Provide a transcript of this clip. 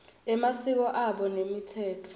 emasiko abo nemitsetfo